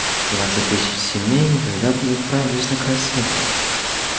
двадцать тысяч семей никогда бы не отправились на край света